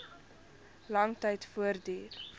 lang tyd voortduur